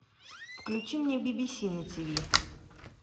включи мне би би си на тв